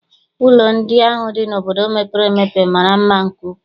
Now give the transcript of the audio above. Ụlọ ndị ahụ dị n'obodo mepere emepe mara mma nke ukwuu.